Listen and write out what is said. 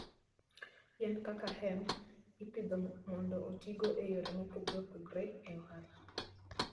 Yien kaka hemp ipidho mondo otigo e yore mopogore opogore e ohala.